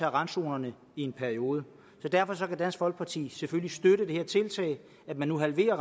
randzonerne i en periode derfor kan dansk folkeparti selvfølgelig støtte det her tiltag med nu at halvere